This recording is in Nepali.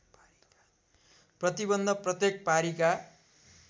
प्रतिबन्ध प्रत्येक पारीका